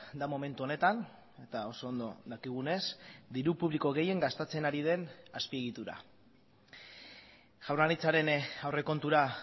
da momentu honetan eta oso ondo dakigunez diru publiko gehien gastatzen ari den azpiegitura jaurlaritzaren aurrekontura